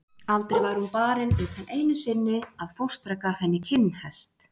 Aldrei var hún barin utan einu sinni að fóstra gaf henni kinnhest.